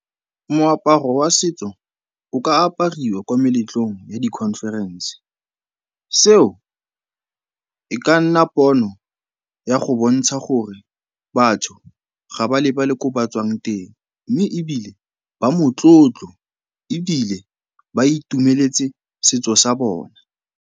Moaparo wa setso o ka apariwa ko meletlong ya di-conference, seo e ka nna pono ya go bontsha gore batho ga ba lebale ko ba tswang teng mme ebile ba motlotlo ebile ba itumeletse setso sa bone.